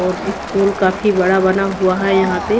और स्कूल काफी बड़ा बना हुआ है यहां पे--